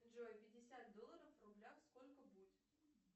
джой пятьдесят долларов в рублях сколько будет